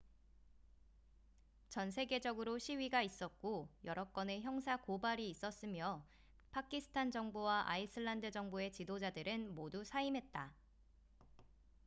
전 세계적으로 시위가 있었고 여러 건의 형사 고발이 있었으며 파키스탄 정부와 아이슬란드 정부의 지도자들은 모두 사임했다